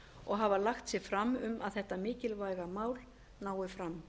og hafa lagt sig fram um